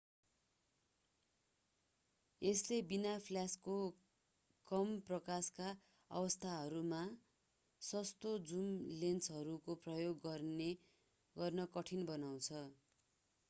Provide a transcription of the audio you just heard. यसले बिना फ्ल्याशको कम प्रकाशका अवस्थाहरूमा सस्तो जुम लेन्सहरूको प्रयोग गर्न कठिन बनाउँछ